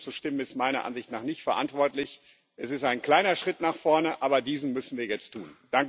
Dagegen zu stimmen ist meiner Ansicht nach nicht verantwortlich. Es ist ein kleiner Schritt nach vorne, aber diesen müssen wir jetzt tun.